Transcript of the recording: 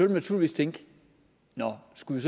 vi naturligvis tænke at nå skulle